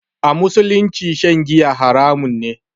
A musulunci shan giya haramun ne